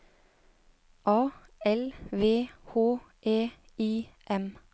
A L V H E I M